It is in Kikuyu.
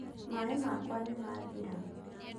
maaĩ makwa nĩmathira